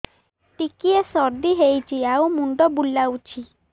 ଟିକିଏ ସର୍ଦ୍ଦି ହେଇଚି ଆଉ ମୁଣ୍ଡ ବୁଲାଉଛି